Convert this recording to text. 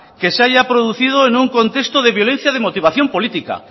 que se haya producido en un contexto de violencia de motivación política